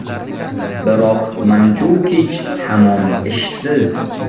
Biroq Manjukich hamon ishsiz.